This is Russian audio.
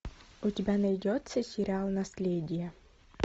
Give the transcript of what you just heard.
у тебя найдется сериал наследие